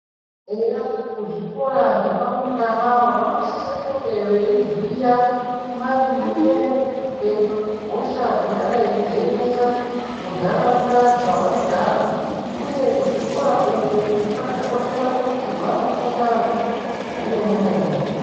Eya kuzvikora zvevarumbwana vanosise kunge veiziya maringe nehosha dzingadai dzeinetsa muntaraunda dzewanogara, uye kuzvikora uku kwakakoshera kuti vanofunda zvemene mene.